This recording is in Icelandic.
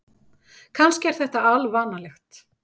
Kannski er þetta alvanalegt.